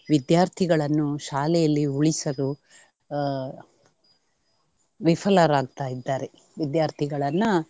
ವಿದ್ಯಾರ್ಥಿಗಳನ್ನು ಶಾಲೆಯಲ್ಲಿ ಉಳಿಸಲು ಆಹ್ ವಿಫಲರಾಗ್ತಾಯಿದ್ದಾರೆ. ವಿದ್ಯಾರ್ಥಿಗಳನ್ನ,